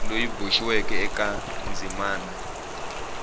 loyi a boxiweke eka ndzimana